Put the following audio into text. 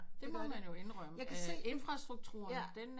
Det må man jo indrømme infrastrukturen den